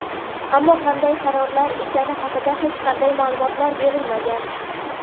Ammo qanday qarorlar ekani haqida hech qanday ma’lumot berilmagan.